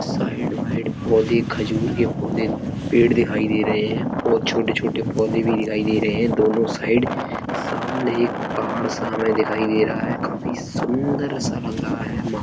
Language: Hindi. साइड वाइड पौधे खजूर के पौधे पेड़ दिखाई दे रहे हैं। बोत छोटे-छोटे पौधे भी दिखाई दे रहे हैं दोनों साइड । सामने एक पहाड़ सा हमें दिखाई दे रहा है। काफी सुन्दर सा लग रहा है माह --